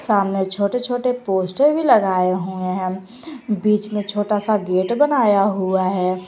सामने छोटे छोटे पोस्टर भी लगाए हुए हैं बीच में छोटा सा गेट बनाया हुआ है।